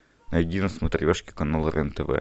найди на смотрешке канал рен тв